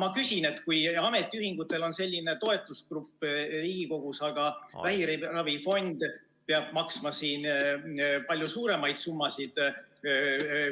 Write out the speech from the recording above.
Ma küsin, et kui ametiühingutel on selline toetusgrupp Riigikogus, aga vähiravifond peab maksma palju suuremaid maksusummasid